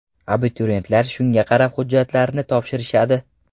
Abituriyentlar shunga qarab hujjatlarini topshirishadi.